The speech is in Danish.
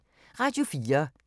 Radio 4